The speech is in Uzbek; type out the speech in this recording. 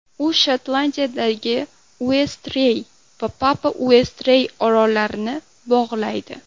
U Shotlandiyadagi Uestrey va Papa-Uestrey orollarini bog‘laydi.